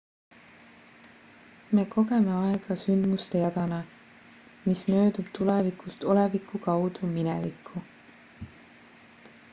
me kogeme aega sündmuste jadana mis möödub tulevikust oleviku kaudu minevikku